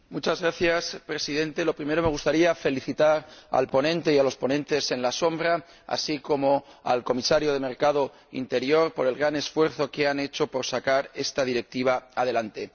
Señor Presidente, en primer lugar me gustaría felicitar al ponente y a los ponentes alternativos, así como al Comisario de Mercado Interior, por el gran esfuerzo que han hecho para sacar esta Directiva adelante.